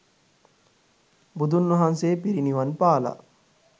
බුදුන් වහන්සේ පිරිණිවන් පාලා